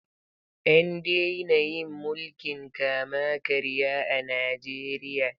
An daina yin mulkin kama karya a Najeriya.